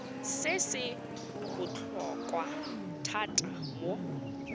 se se botlhokwa thata mo